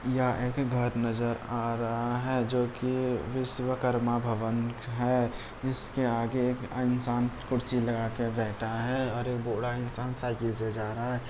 यहाँ एक घर नजर आ रहा है जो की विश्वकर्मा भवन है इसके आगे एक इंसान कुर्सी लगा कर बैठा है और एक बूढ़ा इंसान साइकिल से जा रहा है।